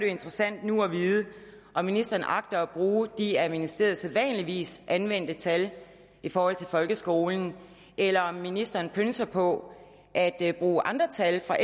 interessant nu at vide om ministeren agter at bruge de af ministeriet sædvanligvis anvendte tal i forhold til folkeskolen eller om ministeren pønser på at at bruge andre tal for